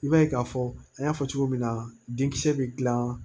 I b'a ye k'a fɔ an y'a fɔ cogo min na denkisɛ bɛ dilan